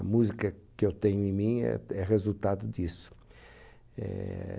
A música que eu tenho em mim é é resultado disso.